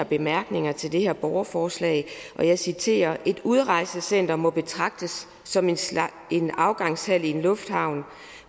bemærkningerne til det her borgerforslag og jeg citerer et udrejsecenter må betragtes som en en afgangshal i en lufthavn